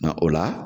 o la